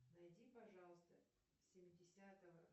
найди пожалуйста семидесятого